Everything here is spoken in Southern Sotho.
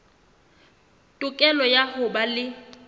tokelo ya ho ba le